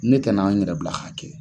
Ne kana n yɛrɛ bila ha kɛ.